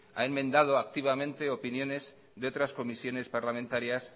ha enmendado activamente opiniones de otras comisiones parlamentarias